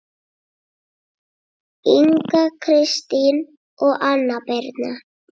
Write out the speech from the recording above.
Inga Kristín og Anna Birna